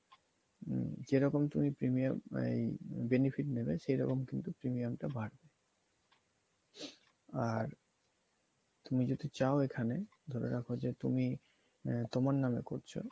যেরকম তুমি premium এই benefit নেবে সেইরকম কিন্তু premium টা বাড়বে আর তুমি যদি চাও এখানে ধরে রাখো যে তুমি আহ তোমার নামে করছো